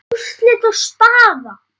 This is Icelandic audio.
Úrslit og staða